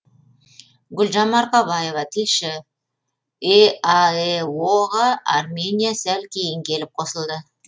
гүлжан марқабаева тілші еаэо ға армения сәл кейін келіп қосылды